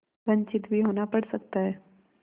वंचित भी होना पड़ सकता है